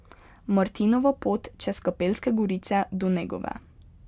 Martinova pot čez Kapelske gorice do Negove.